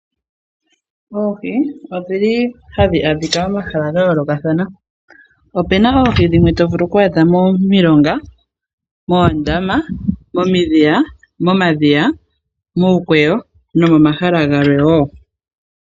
Oohi odhili hadhi adhika momahala gayoolokathana . Opuna oohi dhimwe tovulu oku adha momilonga , moondama , momadhiya muukweyo nomomahala gamwe wo .